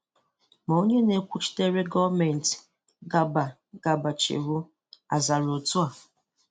Ma onye na-ekwuchitere gọọmenti, Garba Garba Shehu, azara otu a.